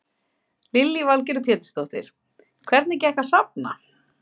Lillý Valgerður Pétursdóttir: Hvernig gekk að safna?